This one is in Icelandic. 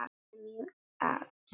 Emil Als.